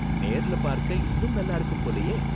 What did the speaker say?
நேர்ல பார்க்க இன்னும் நல்லா இருக்கும் போலயே?